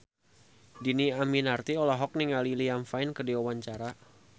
Dhini Aminarti olohok ningali Liam Payne keur diwawancara